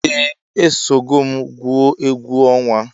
Eeh esogom gwụọ egwu onwa.